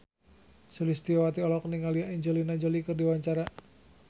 Sulistyowati olohok ningali Angelina Jolie keur diwawancara